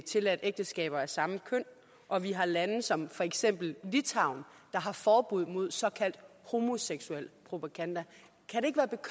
tilladt ægteskaber af samme køn og at vi har lande som for eksempel litauen der har forbud mod såkaldt homoseksuel propaganda